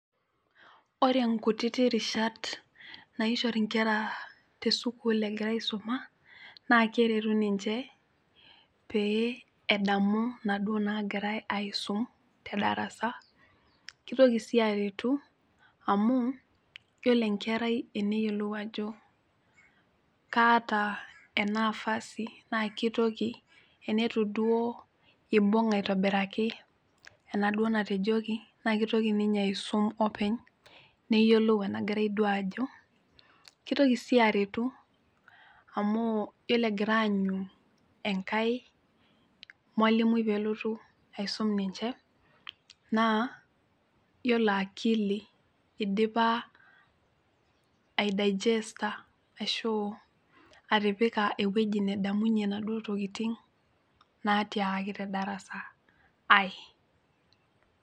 Ore nkutiti rishat naishori inkera tesukul egira aisuma naa keretu ninche pee edamu inaduo nagirae aisum te darasa kitoki sii aretu amuu yiolo enkerai eneyiolou ajo kaata ena afasi naa kitoki enetu duo ibung aitobiraki enaduo natejoki naa kitoki ninye aisum openy neyiolou enagirae duo aajo kitoki sii aretu amu yiolo egira aanyu enkae mwalimui peelotu aisum ninche naa yiolo akili idipa ae daijesta ashu atipika ewueji nedamunyie naduo tokiting natiakaki te darasa ae.